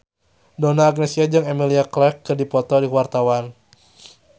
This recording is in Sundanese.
Donna Agnesia jeung Emilia Clarke keur dipoto ku wartawan